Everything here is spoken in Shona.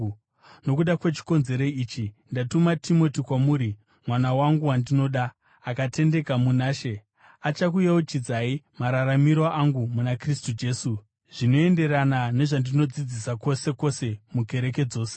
Nokuda kwechikonzero ichi ndatuma Timoti kwamuri, mwana wangu wandinoda, akatendeka muna She. Achakuyeuchidzai mararamiro angu muna Kristu Jesu, zvinoenderana nezvandinodzidzisa kwose kwose mukereke dzose.